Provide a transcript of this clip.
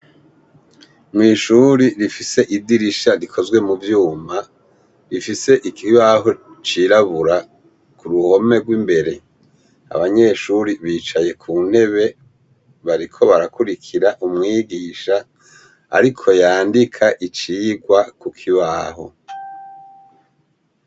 Mw'ishuri rifise idirisha rikozwe mu vyuma rifise ikibaho cirabura ku ruhome rw'imbere abanyeshuri bicaye ku ntebe bariko barakurikira umwigisha, ariko yandika icigwa ku kibaho.